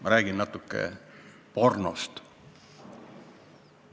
Ma räägin natuke pornost.